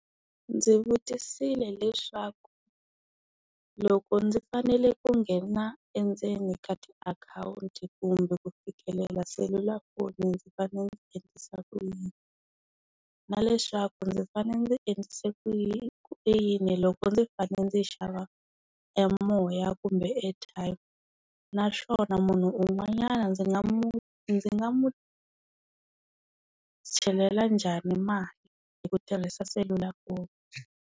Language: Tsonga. Ndzi vutisile hileswaku, loko ndzi fanele ku nghena endzeni ka tiakhawunti kumbe ku fikelela selulafoni ndzi fanele ndzi endlisa ku yini? Na leswaku ndzi fanele ndzi endlise ku ku yini loko ndzi fanele ndzi yi xava emoya kumbe airtime? Naswona munhu un'wanyana ndzi nga mu ndzi nga mu chelela njhani mali hi ku tirhisa selulafoni?